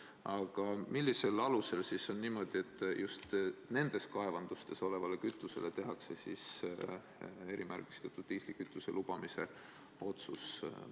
Aga millisel alusel tehti just nende kaevanduste puhul erimärgistatud diislikütuse lubamise otsus?